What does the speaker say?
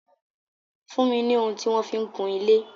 Fún mi ni ohun tí wọ́n fi ń kun ilé.